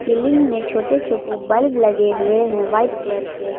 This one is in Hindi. सीलिंग में छोटे छोटे बल्ब लगे हुए हैं व्हाइट कलर के।